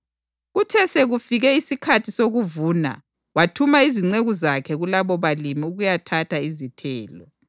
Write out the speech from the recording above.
Kuthe sekufika isikhathi sokuvuna wathuma izinceku zakhe kulabobalimi ukuyathatha izithelo.